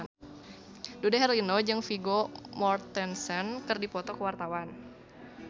Dude Herlino jeung Vigo Mortensen keur dipoto ku wartawan